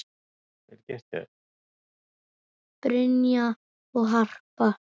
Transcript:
Brynja og Harpa.